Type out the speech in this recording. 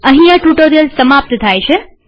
અહીં આ ટ્યુ્ટોરીઅલ સમાપ્ત થાય છે